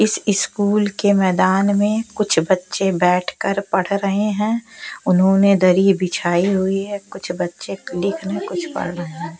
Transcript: इस इस्कूल के मैदान में कुछ बच्चे बैठकर पढ़ रहे हैं उन्होंने दरी बिछाई हुई है कुछ बच्चे लिखने कुछ पढ़ रहे हैं।